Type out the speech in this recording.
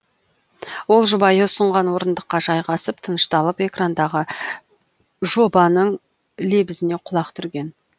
ол жұбайы ұсынған орындыққа жайғасып тынышталып экрандағы жобанның лебізіне құлақ түрген